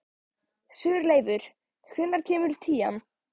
Sigurleifur, hvenær kemur tían?